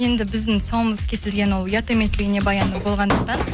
енді біздің тұсауымыз кесілген ол ұят емес бейнебаяны болғандықтан